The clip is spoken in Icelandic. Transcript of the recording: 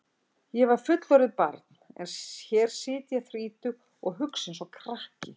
Ég var fullorðið barn en hér sit ég þrítug og hugsa einsog krakki.